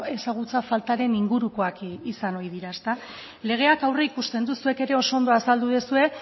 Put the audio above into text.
ezagutza faltaren ingurukoak izan ohi dira legeak aurreikusten du zuek ere oso ondo azaldu duzue